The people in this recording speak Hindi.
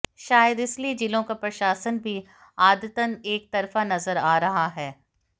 शायद इसीलिए जिलों का प्रशासन भी आदतन एकतरफा नजर आ रहा है